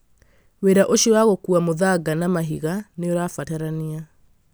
Wĩra ũcio wa gũkuua mũthanga na mahiga nĩ ũrabatarania